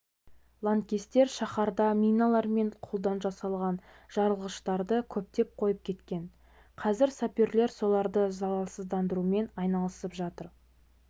лаңкестер шаһарда миналар мен қолдан жасалған жарылғыштарды көптеп қойып кеткен қазір саперлер соларды залалсыздандырумен айналысып жатыр